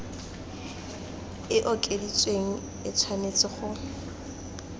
e okeditsweng e tshwanetse go